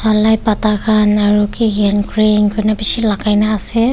lai pata khan aro ki ki han green kurna bishi lagaina ase.